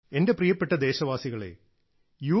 എന്റെ പ്രിയപ്പെട്ട ദേശവാസികളെ യു